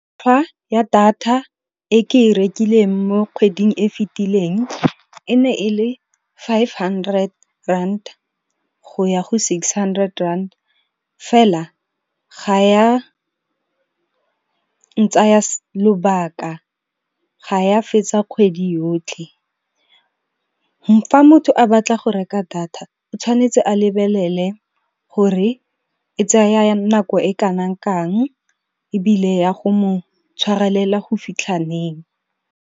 Ya data e ke e rekileng mo kgweding e fitileng e ne e le five hundred rand go ya go six hundred rand fela, ga ya ntsaya lobaka ga ya fetsa kgwedi yotlhe. Fa motho a batla go reka data o tshwanetse a lebelele gore e tsaya nako e kanang kang ebile ya go mo tshwarelela go fitlha neng.